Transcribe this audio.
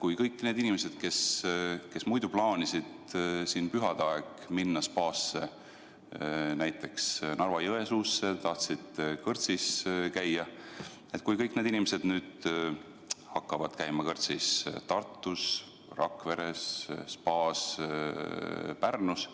kui kõik need inimesed, kes plaanisid pühade ajal minna spaasse näiteks Narva-Jõesuus, tahtsid seal kõrtsis käia, hakkavad nüüd käima kõrtsis või spaas Tartus, Rakveres või Pärnus.